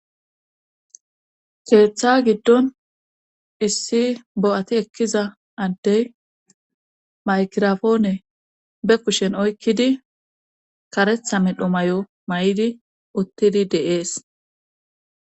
Keeththa giddon issi bo7ati ekkiza addey maykirafoone be kushen oykkidi karetha medhomay7o may7idi uttidi deees.